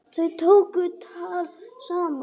Þau tóku tal saman.